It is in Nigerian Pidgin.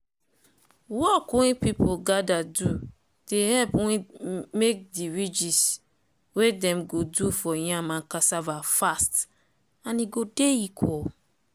work wey people gather do dey help make de ridges wey dem go do for yam and cassava fast and e go dey equal.